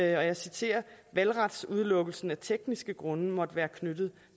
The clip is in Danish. jeg citerer at valgretsudelukkelsen af tekniske grunde måtte være knyttet